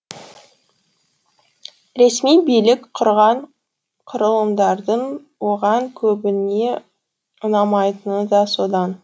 ресми билік құрған құрылымдардың оған көбіне ұнамайтыны да содан